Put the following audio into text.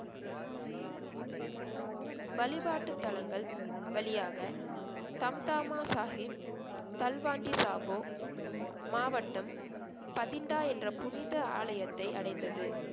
வழிபாட்டுத்தலங்கள் வழியாக சந்தாம சாஹிப் தல்வாண்டி சாபோ மாவட்டம் பதிண்டா என்ற புனித ஆலயத்தை அடைந்தது